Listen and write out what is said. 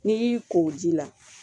N'i y'i ko ji la